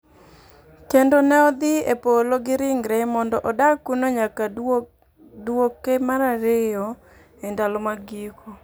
Kendo ne odhi e Polo gi ringre, mondo odag kuno nyaka duogne mar ariyo e ndalo mag giko.